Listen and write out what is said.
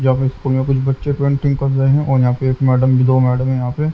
यहाँ पे स्कूल में कुछ बच्चे पेंटिंग कर रहे हैं और यहाँ पे एक मैडम दो मैडम हैं यहाँ पे।